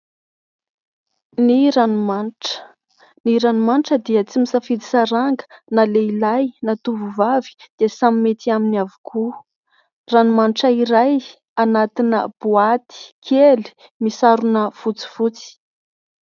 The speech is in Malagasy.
Ny ranomanitra. Ny ranomanitra dia tsy misafidy saranga na lehilahy na tovovavy dia samy mety aminy avokoa. Ranomanitra iray anatina boaty kely misarona fotsifotsy.